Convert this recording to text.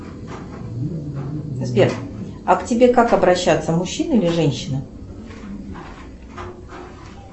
сбер а к тебе как обращаться мужчина или женщина